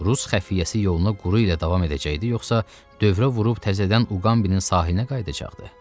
Rus xəfiyyəsi yoluna quru ilə davam edəcəkdi yoxsa dövrə vurub təzədən Uqambinin sahilinə qayıdacaqdı?